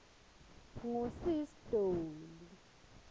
ngu sis dolly